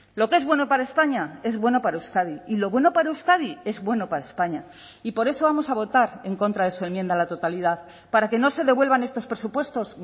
lo que es bueno para españa es bueno para euskadi y lo bueno para euskadi es bueno para españa y por eso vamos a votar en contra de su enmienda a la totalidad para que no se devuelvan estos presupuestos